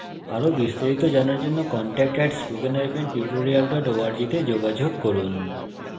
আরো বিস্তারিত জানার জন্য contact at spoken hyphen tutorial dot org তে যোগযোগ করুন